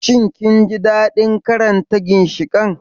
Shin kun ji daɗin karanta ginshiƙan?